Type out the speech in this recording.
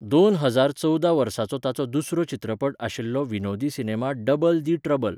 दोन हजार चोवदा वर्साचो ताचो दुसरो चित्रपट आशिल्लो विनोदी सिनेमा डबल दी ट्रबल.